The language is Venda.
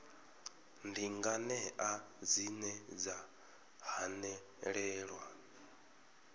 ndi nganea dzine dza hanelelwa